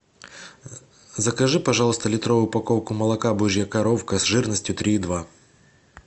закажи пожалуйста литровую упаковку молока божья коровка с жирностью три и два